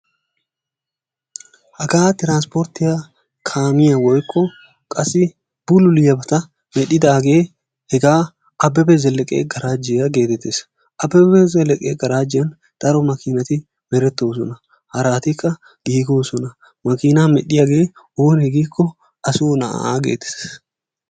Hagaa tiransporttiyaa kaamiyaa woykko bululiyaabata medhdhidaagee hegaa abebe zeleke garaajiyaa getettees. Abebe zeleke garaajjiyaan daro maakinati merettoosona. Haratiikke giigosona. Maakinaa medhdhiyaagee onee giikko a soo na'aa geetettees.